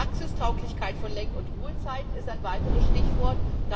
Praxistauglichkeit von Lenk und Ruhezeiten ist ein weiteres Stichwort.